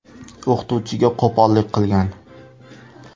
o‘qituvchiga qo‘pollik qilgan.